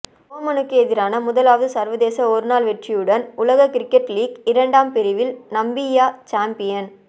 ஓமானுக்கு எதிரான முதலாவது சர்வதேச ஒருநாள் வெற்றியுடன் உலக கிரிக்கெட் லீக் இரண்டாம் பிரிவில் நமீபியா சம்பியன்